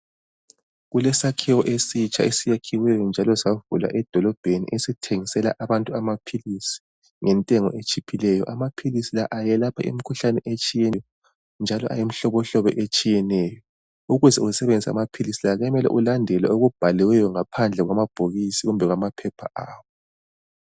Kulesakhiwo esitsha esiyakhiweyo njalo savulwa edolobheni, esithengisela abantu amaphilisi, ngentengo etshiphileyo. Amaphilisi la ayelapha imkhuhlane etshiyeneyo, njalo ayimihlobohlobo etshiyeneyo. Ukuze usebenzise amaphilisi la, kuyamele ulandele okubhaliweyo ngaphandle kwamabhokisi kumbe kwamaphepha awo.